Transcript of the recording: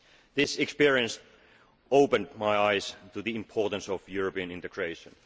This experience opened my eyes to the importance of European integration.